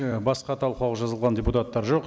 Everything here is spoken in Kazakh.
і басқа талқылауға жазылған депутаттар жоқ